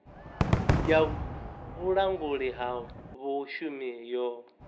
ya vhulanguli ha vhashumi yo